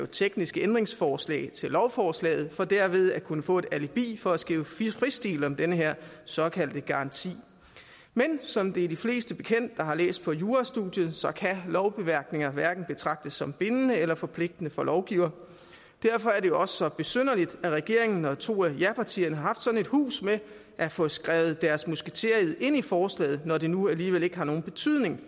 tekniske ændringsforslag til lovforslaget for derved at kunne få et alibi for at skrive fristil om den her såkaldte garanti men som det er de fleste der har læst på jurastudiet bekendt så kan lovbemærkninger hverken betragtes som bindende eller forpligtende for lovgiver derfor er det også så besynderligt at regeringen og to af japartierne har haft sådan et hus med at få skrevet deres musketered ind i forslaget når det nu alligevel ikke har nogen betydning